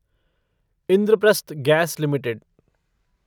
Indraprastha gas limited